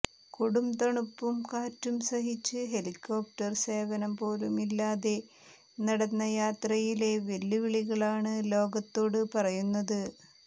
കൊടുംതണുപ്പും കാറ്റും സഹിച്ച് ഹെലികോപ്റ്റർ സേവനം പോലുമില്ലാതെ നടന്ന യാത്രയിലെ വെല്ലുവിളികളാണ് ലോകത്തോട് പറയുന്നത്